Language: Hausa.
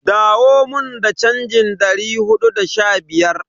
Dawo mun da chanjin dari hudu da sha biyar.